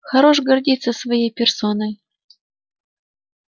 хорош гордиться своей персоной